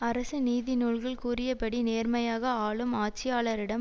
அரச நீதிநூல்கள் கூறியபடி நேர்மையாக ஆளும் ஆட்சியாளரிடம்